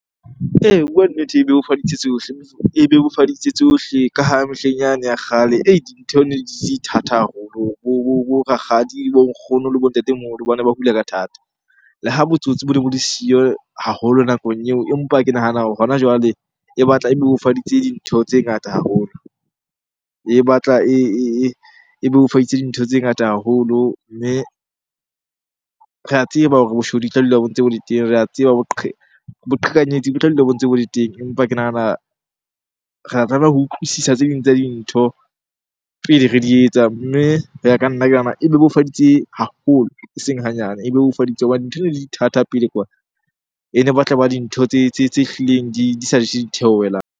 Ee, ho bua nnete e bebofaditse tsohle, e bebofaditse tsohle ka ha mehleng yane ya kgale dintho ne di ne di di thata haholo. Bo rakgadi, bo nkgono le bo ntatemoholo bane ba hula ka thata. Le ha botsotsi bo ne bo le siyo haholo nakong eo, empa ke nahana hore hona jwale e batla e bebofaditse dintho tse ngata haholo. E batla e bebofaditse dintho tse ngata haholo. Mme re a tseba hore boshodu e tla dula bo ntse bo le teng, re a tseba boqhekanyetsi bo tla dula bo ntse bo le teng. Empa ke nahana re a tlameha ho utlwisisa tse ding tsa dintho pele re di etsa. Mme ho ya ka nna, ke nahana e bebofaditse haholo e seng hanyane. E bebofaditse hobane dintho di ne di le thata pele kwana. E ne batla eba dintho tse tse hlileng di sa je di theohelang.